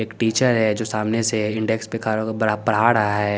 एक टीचर है जो सामने से इंडेक्स पे खड़ा होक बड़ा पड़ा रहा है।